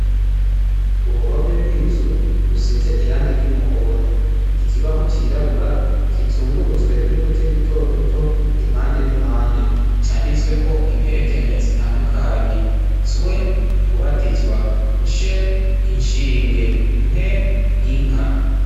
uruhome rw'inzu rusize irangi ry'umuhondo ikibaho cy'irabura kizungurutswe n'uduti duto duto impande n'impande cyanditsweko imperekeranya zitandukanye zwe kubatizwa nshe inshinge nke inka